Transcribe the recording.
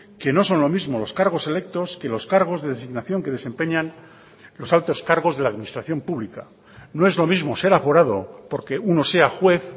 que no son lo mismo los cargos electos que los cargos de designación que desempeñan los altos cargos de la administración pública no es lo mismo ser aforado porque uno sea juez